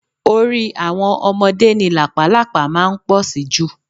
Orí àwọn ọmọdé ni làpálàpá máa ń pọ̀ sí jù